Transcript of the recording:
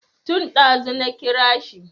Tun ɗazu na kira shi